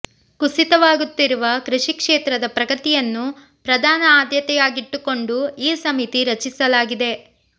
ಕುಸಿತವಾಗುತ್ತಿರುವ ಕೃಷಿ ಕ್ಷೇತ್ರದ ಪ್ರಗತಿಯನ್ನು ಪ್ರಧಾನ ಆದ್ಯತೆಯಾಗಿಟ್ಟುಕೊಂಡು ಈ ಸಮಿತಿ ರಚಿಸಲಾಗಿದೆ